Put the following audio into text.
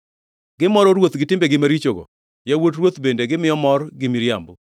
“Gimoro ruoth gi timbegi marichogo, yawuot ruoth bende gimiyo mor gi miriambo.